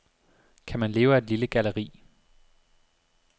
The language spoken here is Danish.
Kan man leve af et lille galleri?